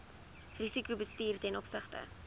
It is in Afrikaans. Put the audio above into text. risikobestuur ten opsigte